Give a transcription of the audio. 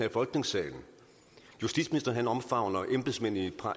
i folketingssalen justitsministeren omfavner embedsmændene i